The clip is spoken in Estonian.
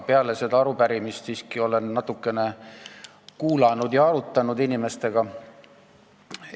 Peale selle arupärimise esitamist olen siiski neid asju natukene kuulanud ja inimestega arutanud.